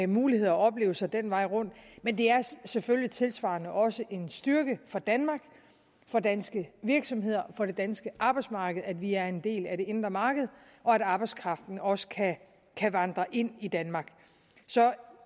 muligheder og oplevelser den vej rundt men det er selvfølgelig tilsvarende også en styrke for danmark for danske virksomheder og for det danske arbejdsmarked at vi er en del af det indre marked og at arbejdskraften også kan kan vandre ind i danmark så